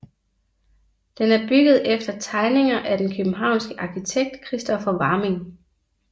Den er bygget efter tegninger af den københavnske arkitekt Kristoffer Varming